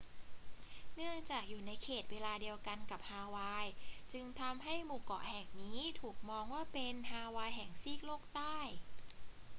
เนื่องจากอยู่ในเขตเวลาเดียวกันกับฮาวาย จึงทำให้หมู่เกาะแห่งนี้ถูกมองว่าเป็น ฮาวายแห่งซีกโลกใต้